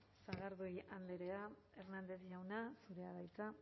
eskerrik asko sagardui andrea hernández jauna zurea da hitza